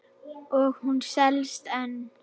Og hún selst enn.